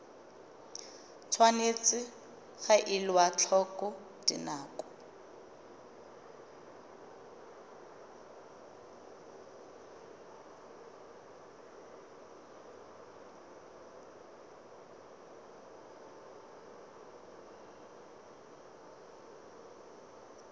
tshwanetse ga elwa tlhoko dinako